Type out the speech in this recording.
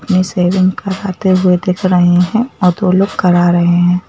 अपनी सेविंग कराते हुए दिख रहे हैं और दो लोग करा रहे हैं।